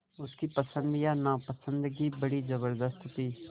उसकी पसंद या नापसंदगी बड़ी ज़बरदस्त थी